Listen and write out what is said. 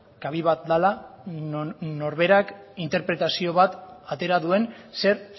kabi bat dela non norberak interpretazio bat atera duen zer